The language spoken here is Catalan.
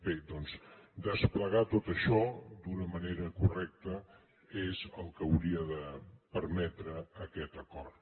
bé doncs desplegar tot això d’una manera correcta és el que hauria de permetre aquest acord